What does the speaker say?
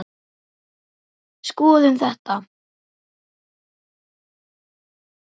Skoðum þetta